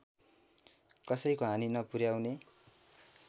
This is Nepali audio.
कसैको हानि नपुर्‍याउने